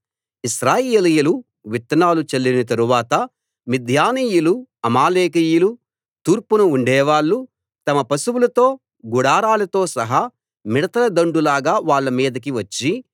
ఇశ్రాయేలీయులు విత్తనాలు చల్లిన తరువాత మిద్యానీయులు అమాలేకీయులు తూర్పున ఉండేవాళ్ళు తమ పశువులతో గుడారాలతో సహా మిడతల దండు లాగా వాళ్ళ మీదికి వచ్చి